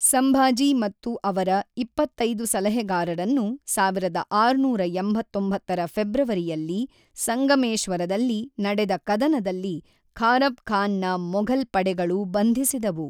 ಸಂಭಾಜಿ ಮತ್ತು ಅವರ ಇಪ್ಪತ್ತೈದು ಸಲಹೆಗಾರರನ್ನು ಸಾವಿರದ ಆರುನೂರ ಎಂಬತ್ತೊಂಬತ್ತರ ಫೆಬ್ರವರಿಯಲ್ಲಿ ಸಂಗಮೇಶ್ವರದಲ್ಲಿ ನಡೆದ ಕದನದಲ್ಲಿ ಖಾರಬ್ ಖಾನ್ ನ ಮೊಘಲ್ ಪಡೆಗಳು ಬಂಧಿಸಿದವು.